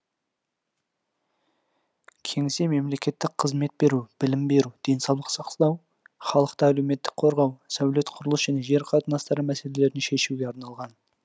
кеңсе мемлекеттік қызмет беру білім беру денсаулық сақтау халықты әлеуметтік қорғау сәулет құрылыс және жер қатынастары мәселелерін шешуге арналған